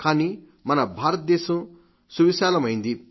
కానీ మన భారతదేశం సువిశాలమైంది